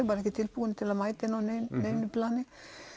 var ekki tilbúinn til að mæta henni á neinu plani